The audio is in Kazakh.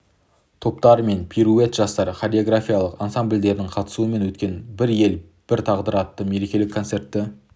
топтары мен пируэт жастар хореографиялық ансамблдерінің қатысуымен өткен бір ел бір тағдыр атты мерекелік концертті